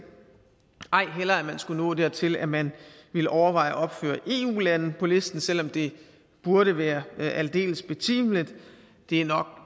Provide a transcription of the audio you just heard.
ej heller at man skulle nå dertil at man ville overveje at opføre eu lande på listen selv om det burde være aldeles betimeligt det er nok